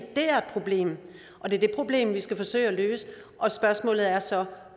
det er et problem og det er det problem vi skal forsøge at løse og spørgsmålet er så